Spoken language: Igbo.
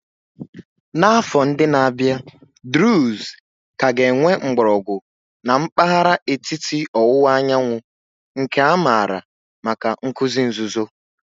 N'afọ ndị na-abịa, Druze ka ga-enwe mgbọrọgwụ na mpahara etiti owuwa anyanwu, nke a maara maka nkuzi nzuzo.